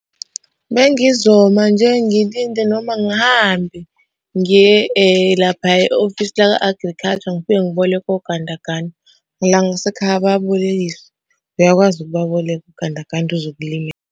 Bengizoma nje ngilinde noma ngihambe ngiye laphaya e-ofisi laka-agriculture ngifike ngiboleke ogandaganda. La ngasekhaya bayabolekisa, uyakwazi ukubaboleka ogandaganda .